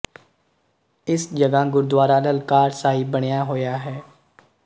ਇਸ ਜਗ੍ਹਾ ਗੁਰਦੁਆਰਾ ਲਲਕਾਰ ਸਾਹਿਬ ਬਣਿਆ ਹੋਇਆ ਹੈ